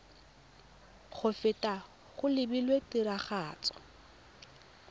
go feta go lebilwe tiragatso